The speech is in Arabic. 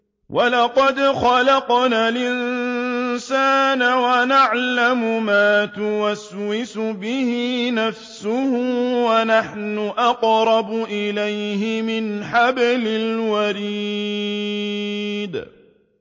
وَلَقَدْ خَلَقْنَا الْإِنسَانَ وَنَعْلَمُ مَا تُوَسْوِسُ بِهِ نَفْسُهُ ۖ وَنَحْنُ أَقْرَبُ إِلَيْهِ مِنْ حَبْلِ الْوَرِيدِ